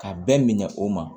Ka bɛɛ minɛ o ma